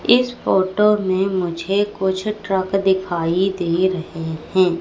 इस फोटो में मुझे कुछ ट्रक दिखाई दे रहे हैं।